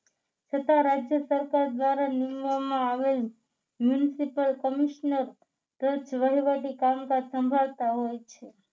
છતાં રાજ્ય સરકાર દ્વારા નિમવામાં આવેલ municipal commissioner વહીવટી કામકાજ સંભાળતા હોય છે